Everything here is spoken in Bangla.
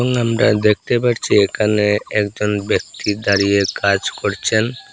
আমরা দেখতে পারছি এখানে একজন ব্যক্তি দাঁড়িয়ে কাজ করছেন।